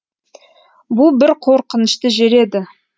бұ бір қорқынышты жер еді